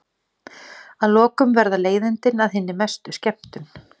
Að lokum verða leiðindin að hinni mestu skemmtun.